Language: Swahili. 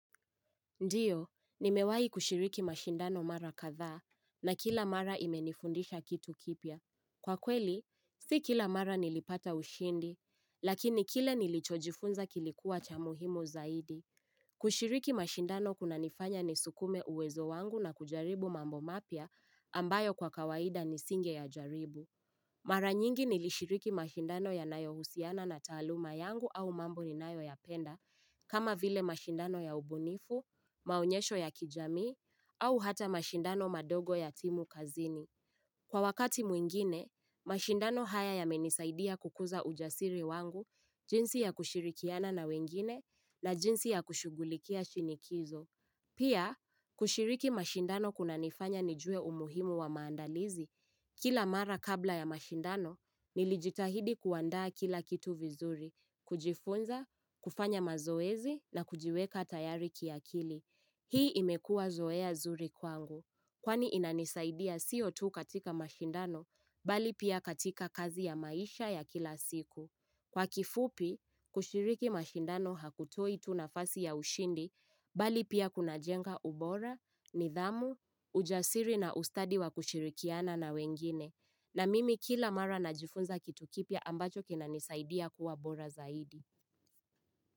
Ndiyo, nimewai kushiriki mashindano mara katha na kila mara imenifundisha kitu kipya. Kwa kweli, si kila mara nilipata ushindi, lakini kile nilichojifunza kilikuwa cha muhimu zaidi. Kushiriki mashindano kunanifanya ni sukume uwezo wangu na kujaribu mambo mapya ambayo kwa kawaida nisinge ya jaribu. Mara nyingi nilishiriki mashindano ya nayo husiana na taaluma yangu au mambo ni nayo ya penda, kama vile mashindano ya ubunifu, maonyesho ya kijami, au hata mashindano madogo ya timu kazini. Kwa wakati mwingine, mashindano haya yamenisaidia kukuza ujasiri wangu, jinsi yakushirikiana na wengine na jinsi ya kushugulikia shinikizo. Pia, kushiriki mashindano kuna nifanya nijue umuhimu wa maandalizi. Kila mara kabla ya mashindano, nilijitahidi kuandaa kila kitu vizuri, kujifunza, kufanya mazoezi na kujiweka tayari ki akili. Hii imekua zoea zuri kwangu, kwani inanisaidia sio tu katika mashindano, bali pia katika kazi ya maisha ya kila siku. Kwa kifupi, kushiriki mashindano hakutoi tu nafasi ya ushindi, bali pia kuna jenga ubora, nidhamu, ujasiri na ustadi wa kushirikiana na wengine. Na mimi kila mara najifunza kitu kipya ambacho kinanisaidia kuwa bora zaidi.